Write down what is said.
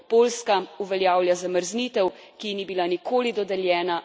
Poljska uveljavlja zamrznitev, ki ji ni bila nikoli dodeljena.